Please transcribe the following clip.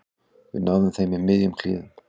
Við náðum þeim í miðjum klíðum